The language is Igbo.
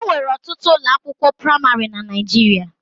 E nwere ọtụtụ ụlọakwụkwọ praịmarị na Naịjirịa.